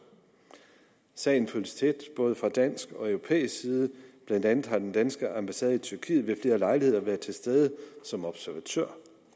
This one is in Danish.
sagen følges tæt både fra dansk og europæisk side blandt andet har den danske ambassade i tyrkiet ved flere lejligheder været til stede som observatør